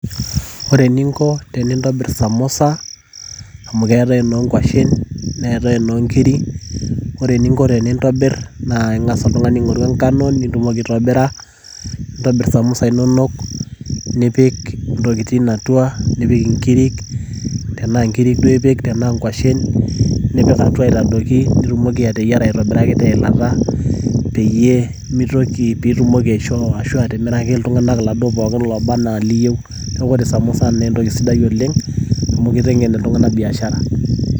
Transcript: Ore eninko tenintobir samosa, amu keetae enookwashen neetae enoonkiri, ore eninko tenintobir na ing'asa oltung'ani aing'oru enkano nitumoki aitobira. Nintobir samosa inonok nipik intokiting' atua, nipik inkirik, tenaa nkirik duo ipik tenaa nkwashen, nipik atua aitadoki pitumoki ateyiara aitobiraki teilata peyie mitoki pitumoki aishoo ashu atimiraki iltung'anak iladuo pookin loba enaa iliyieu. Neeku ore samosa na entoki sidai oleng',amu kiteng'en iltung'anak biashara.